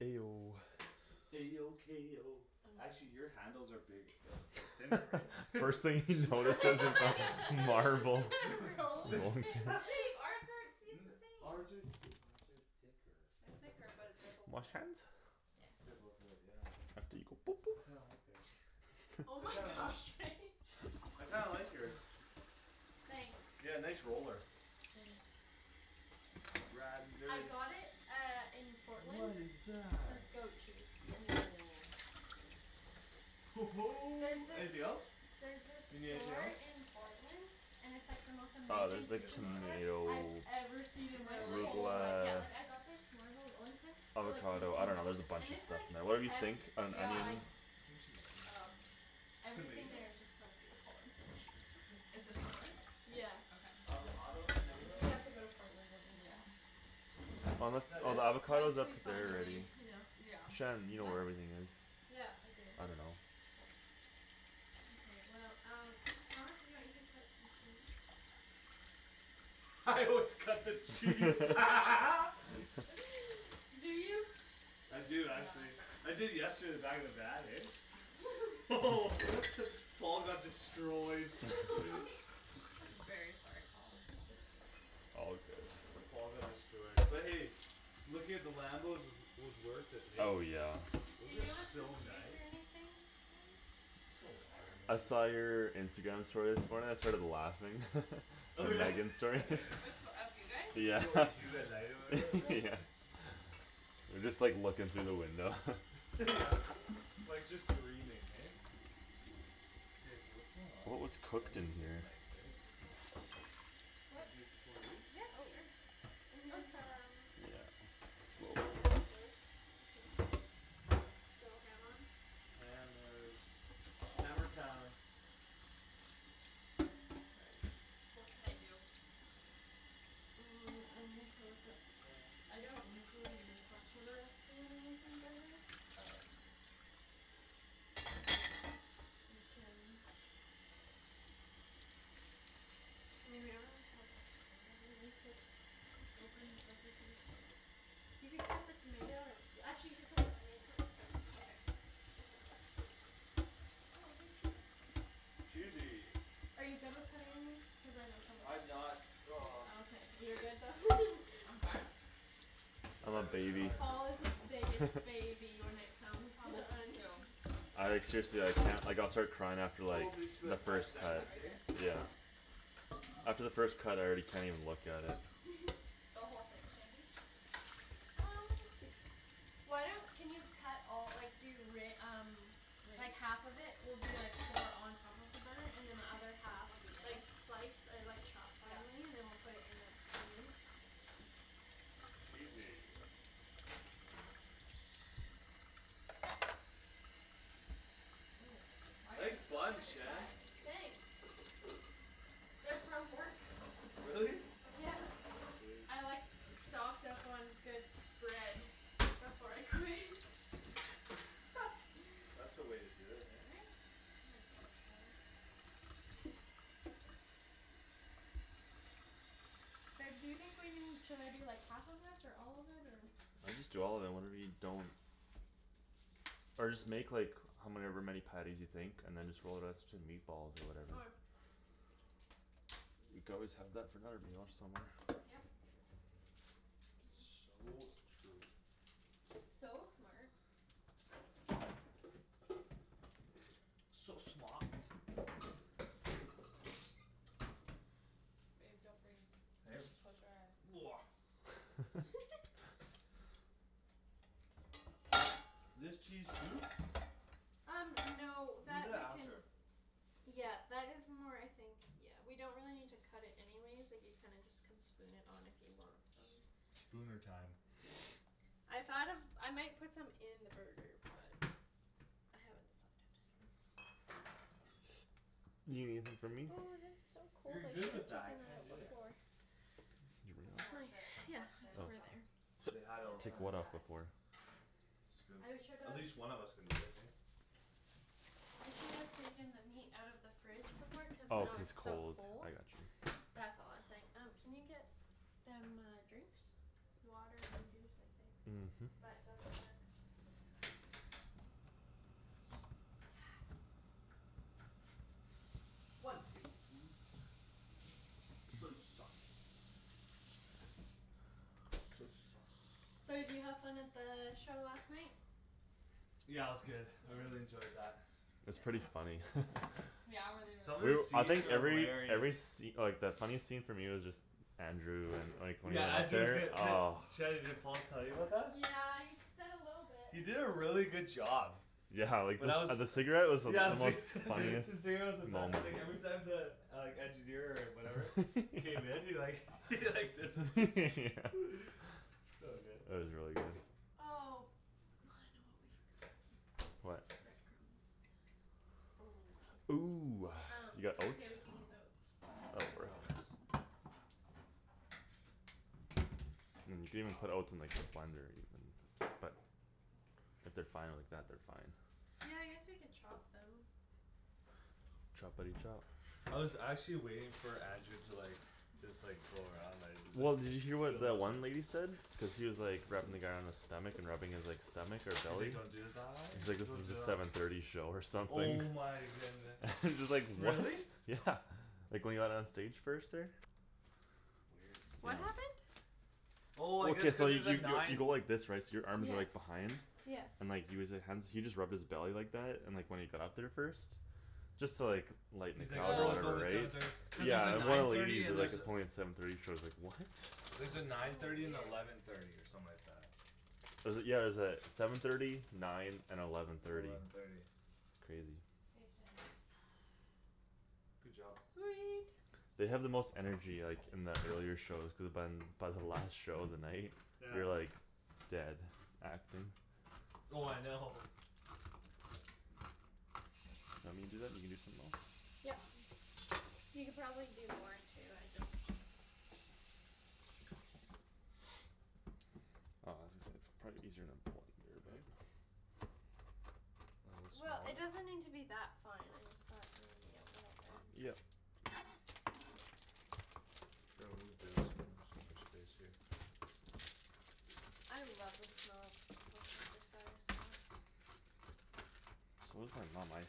A O A O K O actually your handles are bigg- uh they're thinner, right? First thing he notices is the marble Rolling rolling pin? pin. But babe, our the same! Ours are th- ours are thicker. They're Think our thicker but they're both Wash wood. hands? Yes. They're both wood, yeah. I kinda like theirs. Oh I my kind of gosh, Faye. I kinda like yours. Thanks. Yeah, nice roller. Thanks. Ridin' I dirty. got it uh in What Portland. is That's that? goat cheese. There's Anything this else? There's this You need anything store else? in Portland And it's like the most Oh, amazing there's, I like, guess kitchen not. store I've tomato ever seen in my Really? whole Arugula life. Yeah, like, I got this marble rolling pin For like Avocado, I fifteen dunno, there's dollars, a and bunch of it's, stuff like, in there. Whatever you think hefty. Uh an Yeah. Like onion. I think she's all right over there. Everything Tomato? there is just so beautiful and so cheap. It's in Portland? Yeah. Okay, I'm gonna Avocado? go find Tomato? Yeah. We that then. have to No. go to Portland one Yeah. weekend. Is Unless, that oh, the it? avocado's Once up we there finally, already. you know. Yeah. Shan, you know What? where everything is. Yeah, I do. I dunno. Mkay, well, um Thomas if you want you could cut some cheese. Let's cut the cheese. Do you? I do actually. Yeah. I did yesterday in the back of the van, eh? Paul got destroyed. My gosh. I'm very sorry, Paul. All good. Paul got destroyed but hey, looking at the Lambos was, was worth it, hey? Oh, yeah. Do Those are you want some so juice nice. or anything, guys? Just some water Sure. I maybe. saw your Instagram story this morning; I started laughing. The Megan story. Which o- of you guys? This is Yeah, what we do at night or whatever? Oh Yeah. yeah. You're just, like, looking through the window. Yeah, Oop like, just dreaming, hey? K, so what's going on What here? was So I cooked in need this here? knife, right? Can What? I take just one of these? Yep, Oh. sure. And Oh, it's here's fine there. um Yeah. Slowly. Here's a cutting board. You can go ham on. Hammers. Hammer time. Nice. What can I do? Mm, I need to look up Hammer time. I don't usually use much of a recipe when I'm making burgers, but You can I mean, we don't really have a ton of them. You could Open, like, you can You could cut the tomato or Actually, you should cut the onion first. Okay. If that works. Oh, hey, cheese. Cheesy! Are you good with cutting onions? Cuz I know some of us I'm aren't not. He's Oh, not. okay. You're good though. I'm fine. I'm I a always baby. cry. Paul is the biggest baby when it comes Thomas to is onions. too. I, like, seriously I can't. Like I'll start crying after, Oh like, me too, the like We're five first just gonna cut. cut seconds, right hey? here? Yeah. Yep. After the first cut I already can't even look at it. The whole thing, Shandy? Um Why don't, can you cut all, like, do re- um Like, half of it will be, like, for on top of the burger and then the other half Will be in Like, it? slice or, like, chop Yeah. Finely and then we'll put it in the, the meat. Cheesy. Oh, why is Nice this so buns, hard to Shan. cut? Thanks. They're from work. Really? Yeah. Sweet. I, like, stocked up on good bread Before I quit. That's the way to do it, hey? Right? I think so. Reb, do you think we need, should I do, like, half of this or all of it or I'm just doing all of it and whatever we don't Or just make, like, however many patties you think and then just roll the rest into meatballs or Okay. whatever. You could always have that for another meal somewhere. Yep. So true. It's so smart. So smaht. Babe, don't breathe. Close your eyes. Do I do this cheese too? Um no We'll do that that we can after. Yeah, that is more, I think Yeah, we don't really need to cut it anyways. Like, you kinda just Can spoon it on if you want some. Spooner time. I thought of, I might put some in the burger but I haven't decided. You gonna leave some for me? Ooh, this is so cold. You're I good should've with that, I taken that can't out do it. before. Did It's you cuz I bring them? My, worked at yeah, that it's Oh. sandwich over shop. there. They And had it all all I the did time, Take was what eh? cut off of where? onions. It's good. I should've At least one of us can do it, hey? I should've taken the meat out of the fridge before cuz Oh, now cuz it's it's so cold, cold. I got you. That's all I was saying. Um can you get Them uh drinks? Water and juice, I think, Mhm. but double check. Yes. Yes. One tablespoon Soy sauce. Soy sauce. So did you have fun at the show last night? Yeah, it was good. I Yeah? really enjoyed that. It's Yep. pretty funny. Yeah? Were they really Some of the good? I scenes think are every, every hilarious. sce- like, the funny scene for me was just Andrew and, like, Yeah, Andrew was whenever good. D- oh. Shanny, did Paul tell you about that? Yeah, he s- said a little bit. He did a really good job. Yeah, like, the When I was, s- uh yeah the the cigarette cigarette was the most funniest was the moment best, like every time the Like engineer or whatever K, then he like he like did the So good. It was really good. Oh, I know what we forgot. What? Bread crumbs. Oh. Ooh, Um, you got that's okay oats? we can use oats. Oh, real That works. oats. Mm, you could even put Oh oats in, like, the blender even but if they're fine like that, they're fine. Yeah, I guess we could chop them. Choppity chop. I was actually waiting for Andrew to like Just like, go around, like Well, did you hear what the one lady said? Cuz he was, like, rubbing the guy on his stomach and rubbing his, like, stomach or He's like belly don't do the thigh? Like this Don't is do the the seven thirty show or something. Oh my goodness. Just like, what? Really? Yeah, like when he got on stage first there. Weird. What happened? Oh I guess Okay, so cuz you there's a y- y- you nine go like this, right? So your arms are like Yeah. behind? Yeah. And like he was li- hands he just rubbed his belly like that and when he got up there first Just to, like, lighten the He's like, crowd or "Oh, Oh it's whatever, only right? seven thirty." Cuz there's a Yeah, and one of nine the thirty ladies and is like, there's a it's only seven thirty, she was like, "What?" There's a nine Oh thirty and weird. eleven thirty or something like that. Was it, yeah, it was uh seven thirty nine and eleven And thirty. eleven thirty. It's crazy. Patience. Good job. Sweet. They have the most energy, like, in the earlier shows cuz by By the last show of the night Yeah. you're, like Dead, acting. Oh I know. Let me do that and you can do something else? Yep. You could probably do more too, I just Aw, I was gonna say it's probably easier in a blender, right? A little It'll Well, get smaller? it smaller? doesn't need to be that fine, I just thought maybe a little bit. Yep. The Here I'll oat move bag's the oats coming somewhere else onto you'll my have more space space here. here. I love the smell of worcestershire sauce. So I